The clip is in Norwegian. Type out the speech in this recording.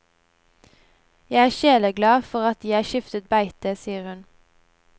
Jeg er sjeleglad for at jeg skiftet beite, sier hun.